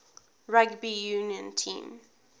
rugby union team